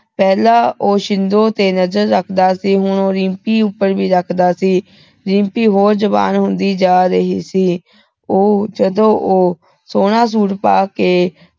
ਪਹਿਲਾ ਉਹ ਛਿੰਦੋ ਤੇ ਨਜ਼ਰ ਰੱਖਦਾ ਸੀ ਤੇ ਹੁਣ ਉਹ ਰਿੰਪੀ ਉਪਰ ਵੀ ਰੱਖਦਾ ਸੀ ਰਿੰਪੀ ਹੋਰ ਜਵਾਨ ਹੁੰਦੀ ਜਾ ਰਹੀ ਸੀ ਉਹ ਜਦੋ ਉਹ ਸੋਹਣਾ ਸੂਟ ਪਾਕੇ